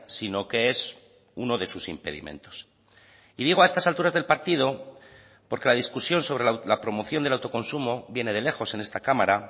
sino que es uno de sus impedimentos y digo a estas alturas del partido porque la discusión sobre la promoción del autoconsumo viene de lejos en esta cámara